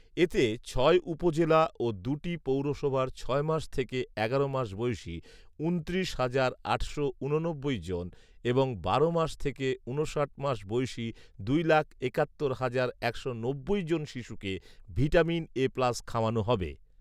এতে ছয় উপজেলা ও দু’টি পৌরসভার ছয় মাস থেকে এগারো মাস বয়সী ঊনত্রিশ হাজার আটশো ঊননব্বই জন এবং বারো মাস থেকে ঊনষাট মাস বয়সী দুই লাখ একাত্তর হাজার একশো নব্বই জন শিশুকে ভিটামিন এ প্লাস খাওয়ানো হবে